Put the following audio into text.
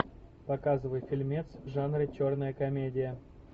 показывай фильмец в жанре черная комедия